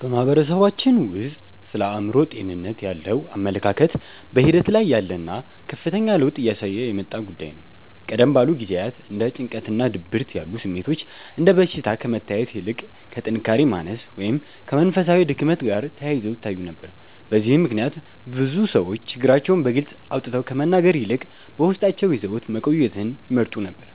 በማህበረሰባችን ውስጥ ስለ አእምሮ ጤንነት ያለው አመለካከት በሂደት ላይ ያለና ከፍተኛ ለውጥ እያሳየ የመጣ ጉዳይ ነው። ቀደም ባሉ ጊዜያት እንደ ጭንቀትና ድብርት ያሉ ስሜቶች እንደ በሽታ ከመታየት ይልቅ ከጥንካሬ ማነስ ወይም ከመንፈሳዊ ድክመት ጋር ተያይዘው ይታዩ ነበር። በዚህም ምክንያት ብዙ ሰዎች ችግራቸውን በግልጽ አውጥተው ከመናገር ይልቅ በውስጣቸው ይዘውት መቆየትን ይመርጡ ነበር።